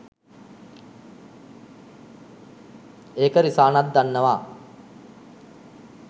එක රිසානත් දන්නවා